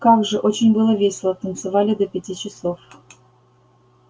как же очень было весело танцевали до пяти часов